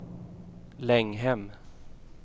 Länghem